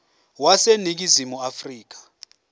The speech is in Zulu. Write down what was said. wase ningizimu afrika